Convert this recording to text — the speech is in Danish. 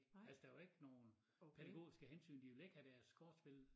Altså der var ikke nogen pædagogiske hensyn de vil ikke have deres kortspil